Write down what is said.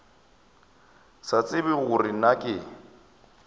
sa tsebe gore na ke